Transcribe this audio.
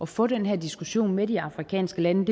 få den her diskussion med de afrikanske lande